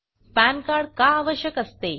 pan card का आवश्यक असते